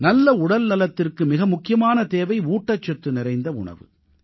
நல்ல உடல்நலத்திற்கு மிக முக்கியமான தேவை ஊட்டச்சத்து நிறைந்த உணவு